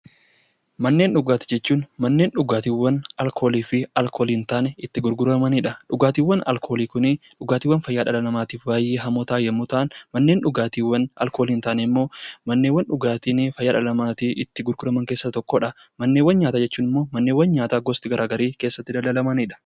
Manneen dhugaatii jechuun manneen dhugaatii alkoolii fi alkoolii hin taane itti gurguramanidha. Dhugaatiiwwan alkoolii Kun dhugaatiiwwan fayyaa dhala namaatiif hamoo ta'an yoo ta'an manneen dhugaatii alkoolii hin taane immoo manneen dhugaatii dhala namaatiif fayyadan itti gurguraman keessaa Isa tokkodha. Manneewwan nyaataa jechuun immoo manneen nyaataa gosti garaagaraa keessatti dalagamanidha.